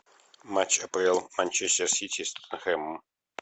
матч апл манчестер сити с тоттенхэмом